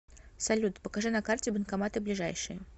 салют покажи на карте банкоматы ближайшие